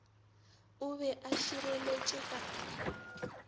o be a širetše ka